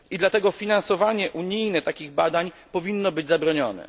I dlatego finansowanie unijne takich badań powinno być zabronione.